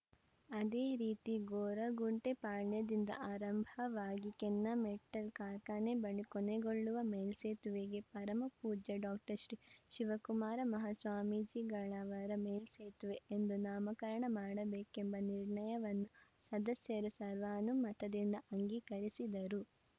ಅದೇ ರೀತಿ ಗೊರಗುಂಟೆ ಪಾಳ್ಯದಿಂದ ಆರಂಭವಾಗಿ ಕೆನ್ನಮೆಟಲ್‌ ಕಾರ್ಖಾನೆ ಬಳಿ ಕೊನೆಗೊಳ್ಳುವ ಮೇಲ್ಸೇತುವೆಗೆ ಪರಮ ಪೂಜ್ಯ ಡಾಕ್ಟರ್ ಶ್ರೀ ಶಿವಕುಮಾರ ಮಹಾ ಸ್ವಾಮೀಜಿಗಳವರ ಮೇಲ್ಸೇತುವೆ ಎಂದು ನಾಮಕರಣ ಮಾಡಬೇಕೆಂಬ ನಿರ್ಣಯವನ್ನು ಸದಸ್ಯರು ಸರ್ವಾನುಮತದಿಂದ ಅಂಗೀಕರಿಸಿದರು